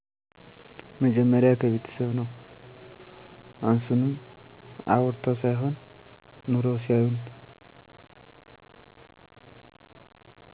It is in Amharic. መጀመሪያ ከቤተሰብ ነው አሱንም አዉርተው ሳይሆን ኑረው ሲያሳዩን